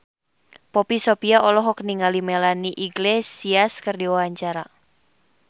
Poppy Sovia olohok ningali Melanie Iglesias keur diwawancara